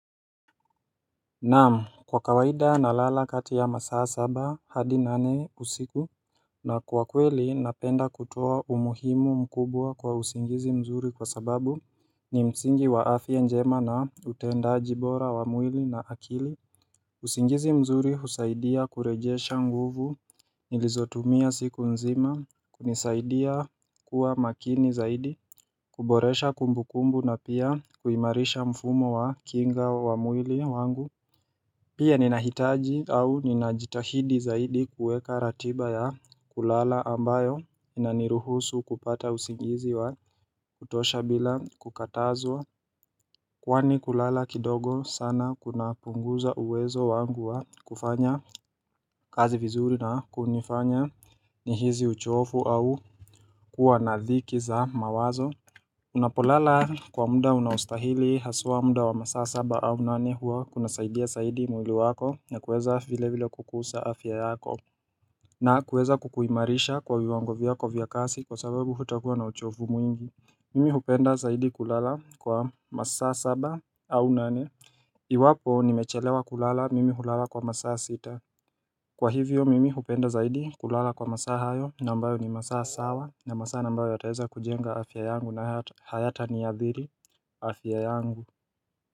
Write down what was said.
Naam. Kwa kawaida nalala kati ya masaa saba hadi nane usiku, na kwa kweli napenda kutoa umuhimu mkubwa kwa usingizi mzuri kwa sababu ni msingi wa afya njema na utendaji bora wa mwili na akili usingizi mzuri husaidia kurejesha nguvu nilizotumia siku nzima kunisaidia kuwa makini zaidi kuboresha kumbu kumbu na pia kuimarisha mfumo wa kinga wa mwili wangu Pia ninahitaji au ninajitahidi zaidi kuweka ratiba ya kulala ambayo inaniruhusu kupata usingizi wa kutosha bila kukatazwa Kwani kulala kidogo sana kuna punguza uwezo wangu wa kufanya kazi vizuri na kunifanya nihisi uchovu au kuwa na dhiki za mawazo unapolala kwa muda unaostahili haswa muda wa masaa saba au nane huwa kunasaidia zaidi mwili wako na kuweza vile vile kukuza afya yako na kuweza kukuimarisha kwa viwango vyako vya kazi kwa sababu hutakuwa na uchovu mwingi. Mimi hupenda zaidi kulala kwa masaa saba au nane Iwapo nimechelewa kulala mimi hulala kwa masaa sita. Kwa hivyo mimi hupenda zaidi kulala kwa masaa hayo na ambayo ni masaa sawa na masaa ambayo yataweza kujenga afya yangu na hayata niadhiri afya yangu.